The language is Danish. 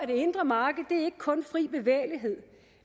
det indre marked ikke kun er fri bevægelighed